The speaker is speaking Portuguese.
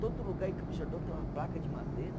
Todo lugar em Campos do Jordão tem uma placa de madeira.